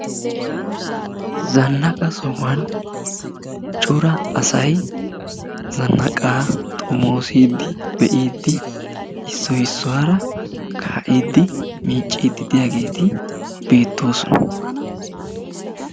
zannaaqa sohuwaan cora asay zannaaqaa xoommosidi bee'idi issoy issuwaara kaa'idi miiccidi de'iyaageti beettoosona.